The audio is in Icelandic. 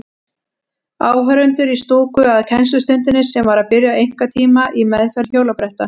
Áhorfendur í stúku að kennslustundinni sem var að byrja, einkatíma í meðferð hjólabretta.